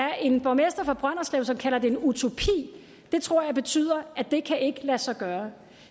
er en borgmester fra brønderslev som kalder det en utopi det tror jeg betyder at det ikke kan lade sig gøre